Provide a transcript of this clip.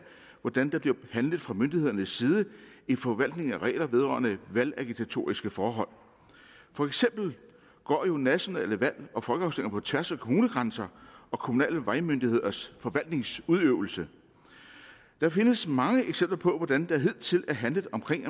hvordan der bliver handlet fra myndighedernes side i forvaltningen af regler vedrørende valgagitatoriske forhold for eksempel går næsten alle valg og folkeafstemninger på tværs af kommunegrænser og kommunale vejmyndigheders forvaltningsudøvelse der findes mange eksempler på hvordan der hidtil er handlet omkring